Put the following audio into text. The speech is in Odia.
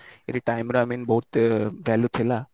ଏଇଠି time ର i mean ବହୁତ ହିଁ value ଥିଲା